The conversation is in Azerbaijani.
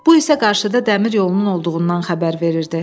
Bu isə qarşıda dəmir yolunun olduğundan xəbər verirdi.